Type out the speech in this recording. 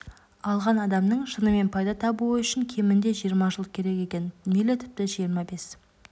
алған адамның шынымен пайда табуы үшін кемінде жиырма жыл керек екен мейлі тіпті жиырма бес